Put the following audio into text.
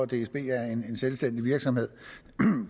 dsb er en selvstændig virksomhed